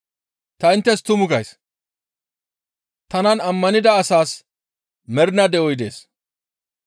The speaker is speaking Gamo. Ta inttes tuma gays; tanan ammanida asas mernaa de7oy dees.